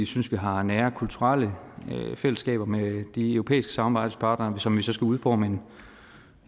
synes vi har nære kulturelle fællesskaber med de europæiske samarbejdspartnere som vi så skal udforme